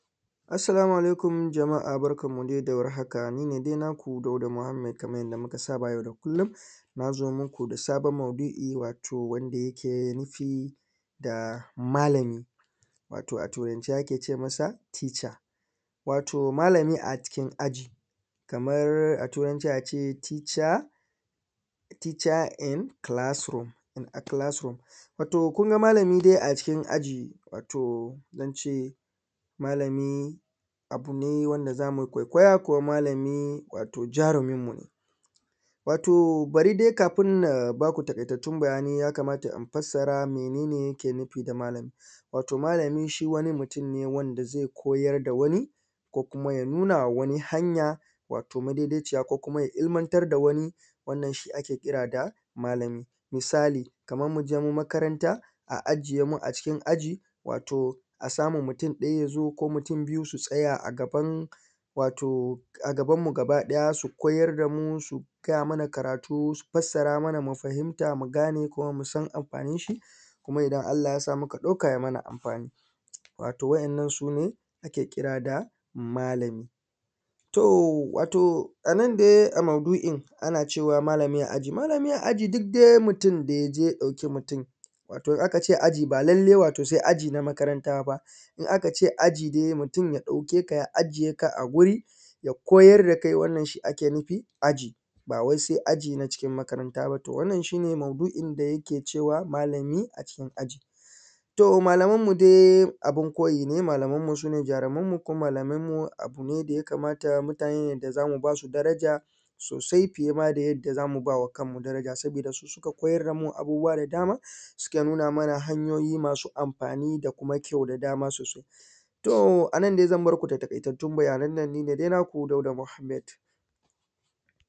Assalamu alaikum jama'a barkanmu dai da warhaka, ni ne dai naku Dauda Muhammed kamar yadda muka saba yau da kullum, na zo muku da sabon maudu'i wato wanda yake nufi da malami, wato a Turance ake ce masa teacher. Wato malami a cikin aji, kamar a Turanci a ce teacher in classroom, in a classroom. Wato kun ga malami dai a cikin aji, wato zan ce malami abu ne wanda za mu kwaikwaya, kuma malami wato jaruminmu ne. Wato bari dai kafin na ba ku taƙaitattun bayanai ya kamata in fassara mene ne yake nufi da malami. Wato malami shi wani mutum ne wanda zai koyar da wani, ko kuma ya nuna wa wani hanya wato madaidaiciya, ko kuma ya ilmantar da wani, wannan shi ake kira da malami. Misali, kamar mu je mu makaranta, a ajiye mu a cikin aji, wato a samu mutum ɗaya ya zo ko mutum biyu su tsaya a gaban wato a gabanmu gabaɗaya su koyar da mu, su gaya mana karatu, su fassara mana mu fahimta mu gane kuma mu san amfaninshi, kuma idan Allah ya sa muka ɗauka ya mana amfani. Wato waɗannan su ne ake kira da malami. To, wato a nan dai a maudu'in, ana cewa malami a aji, malami a aji duk dai mutum da ya je ya ɗauki mutum, wato in aka ce aji ba lallai wato sai aji na makaranta ba. In aka ce aji dai mutum ya ɗauke ka ya ajiye ka a guri, ya koyar da kai wannan shi ake nufi aji, ba wai sai aji na cikin makaranta ba, wannan shi ne maudu'in da yake cewa malami a cikin aji. To malamanmu dai abin koyi ne, malamanmu su ne jarumanmu kuma malamanmu abu ne da ya kamata mutane ne da za mu ba su daraja sosai fiye ma da yadda za mu ba wa kanmu daraja saboda su suka koyar da mu abubuwa da dama, suka nuna mana hanyoyi masu amfani da kuma kyau da dama sosai. To a nan dai zan bar ku da taƙaitattun bayanan nan, ni ne dai naku Dauda muhammed.